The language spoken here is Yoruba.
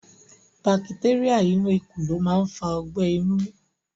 Bacteria inú ikù lo ma n fa ogbẹ̀ inú